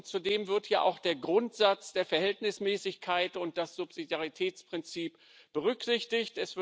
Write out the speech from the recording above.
Zudem werden ja auch der Grundsatz der Verhältnismäßigkeit und das Subsidiaritätsprinzip berücksichtigt.